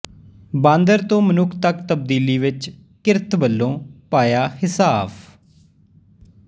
ਬਾਂਦਰ ਤੋਂ ਮਨੁੱਖ ਤੱਕ ਤਬਦੀਲੀ ਵਿੱਚ ਕਿਰਤ ਵਲੋਂ ਪਾਇਆ ਹਿੱਸਾਫ਼